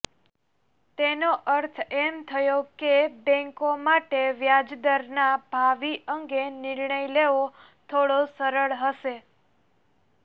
તેનો અર્થ એમ થયો કે બેન્કો માટે વ્યાજદરના ભાવિ અંગે નિર્ણય લેવો થોડો સરળ હશે